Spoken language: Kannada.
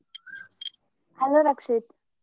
Hello ರಕ್ಷಿತ್.